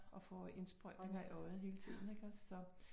Og får indsprøjtninger i øjet hele tiden ik også så